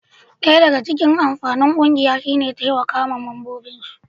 daya daga amfanin kungiya shi ne taimakawa ma mambobin su